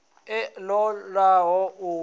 a ṱo ḓaho u wana